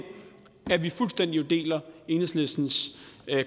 vi jo fuldstændig deler enhedslistens